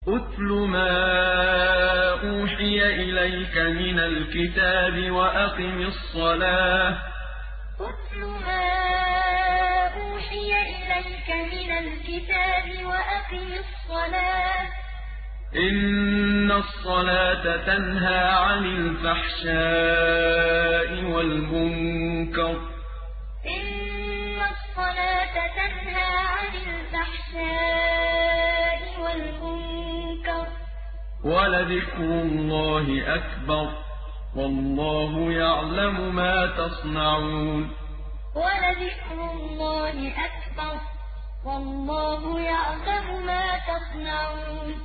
اتْلُ مَا أُوحِيَ إِلَيْكَ مِنَ الْكِتَابِ وَأَقِمِ الصَّلَاةَ ۖ إِنَّ الصَّلَاةَ تَنْهَىٰ عَنِ الْفَحْشَاءِ وَالْمُنكَرِ ۗ وَلَذِكْرُ اللَّهِ أَكْبَرُ ۗ وَاللَّهُ يَعْلَمُ مَا تَصْنَعُونَ اتْلُ مَا أُوحِيَ إِلَيْكَ مِنَ الْكِتَابِ وَأَقِمِ الصَّلَاةَ ۖ إِنَّ الصَّلَاةَ تَنْهَىٰ عَنِ الْفَحْشَاءِ وَالْمُنكَرِ ۗ وَلَذِكْرُ اللَّهِ أَكْبَرُ ۗ وَاللَّهُ يَعْلَمُ مَا تَصْنَعُونَ